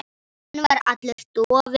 Hann var allur dofinn.